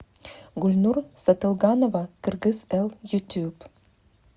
гульнур сатылганова кыргыз эл ютюб